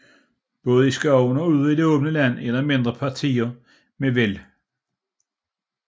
Både i skoven og ude i det åbne land er der mindre partier med væld